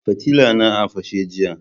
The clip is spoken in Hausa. Fitilla na a fashe jiya